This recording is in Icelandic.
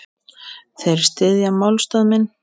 Þeir styðja málstað minn.